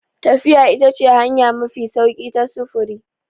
Tafiya ita ce hanya mafi sauƙi ta sufuri.